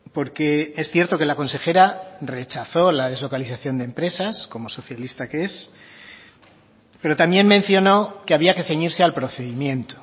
porque es cierto que la consejera rechazó la deslocalización de empresas como socialista que es pero también mencionó que había que ceñirse al procedimiento